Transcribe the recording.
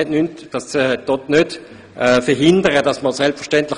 Das soll jedoch nicht etwa gegen das Anliegen sprechen.